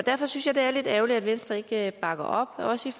derfor synes jeg det er lidt ærgerligt at venstre ikke bakker op også